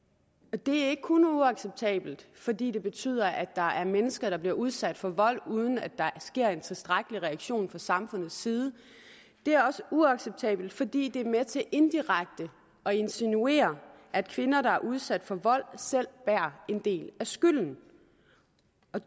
og det er ikke kun uacceptabelt fordi det betyder at der er mennesker der bliver udsat for vold uden at der sker en tilstrækkelig reaktion fra samfundets side det er også uacceptabelt fordi det er med til indirekte at insinuere at kvinder der er udsat for vold selv bærer en del af skylden